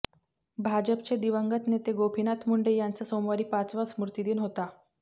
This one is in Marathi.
भाजपचे दिवंगत नेते गोपीनाथ मुंडे यांचा सोमवारी पाचवा स्मृतिदिन होता